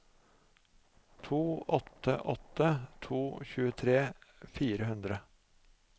to åtte åtte to tjuetre fire hundre